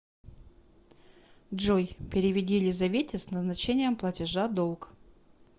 джой переведи елизавете с назначением платежа долг